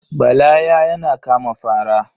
Bala ya yana kama fara.